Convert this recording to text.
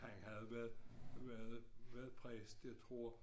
Han havde været været været præst jeg tror